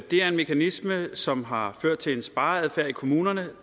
det er en mekanisme som har ført til en spareadfærd i kommunerne